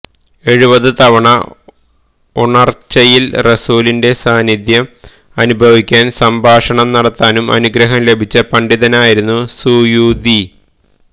എഴുപതു തവണ ഉണര്ച്ചയില് റസൂലിന്റെ സാന്നിധ്യം അനുഭവിക്കാനും സംഭാഷണം നടത്താനും അനുഗ്രഹം ലഭിച്ച പണ്ഡിതനായിരുന്നു സുയൂത്വി